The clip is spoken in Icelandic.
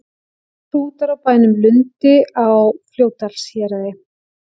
Hrútar á bænum Lundi á Fljótsdalshéraði.